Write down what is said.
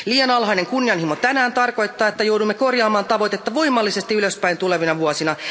Liian alhainen kunnianhimo tänään tarkoittaa, että joudumme korjaamaan tavoitetta voimallisesti ylöspäin tulevina vuosina.